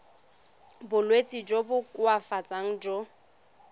bolwetsi jo bo koafatsang jo